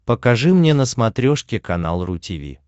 покажи мне на смотрешке канал ру ти ви